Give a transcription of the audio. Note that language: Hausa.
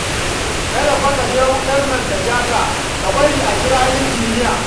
Kada fa ka je wutar nan ta ja ka, ka bari a kira injiniya